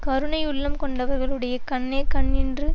கருணையுள்ளம் கொண்டவருடைய கண்ணே கண் என்று